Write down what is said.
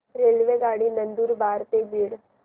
रेल्वेगाडी नंदुरबार ते बीड